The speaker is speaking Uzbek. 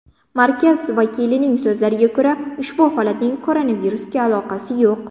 Markaz vakilining so‘zlariga ko‘ra, ushbu holatning koronavirusga aloqasi yo‘q.